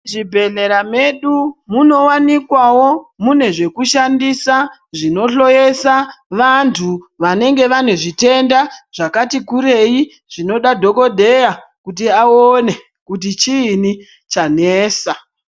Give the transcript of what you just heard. Muzvibhedhleya medu munowanikwawo mune zvekushandisa zvinohloyeza vantu vanenge vane zvitenda zvakati kurei zvinoda dhokodheya kuti aone kuti chiinyi chanesa.